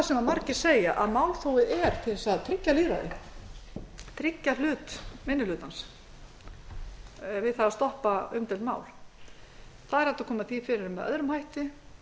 sem margir segja að málþófið er til að tryggja lýðræðið tryggja hlut minni hlutans við það að stoppa umdeild mál það er hægt að koma því fyrir með öðrum hætti